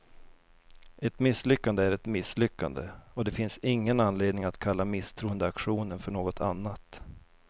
Ett misslyckande är ett misslyckande, och det finns ingen anledning att kalla misstroendeaktionen för något annat.